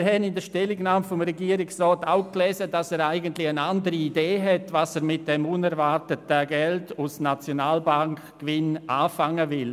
Wir haben in der Stellungnahme des Regierungsrats auch gelesen, dass er eigentlich eine andere Idee hat, was er mit diesem unerwarteten Geld aus SNB-Gewinnen machen will.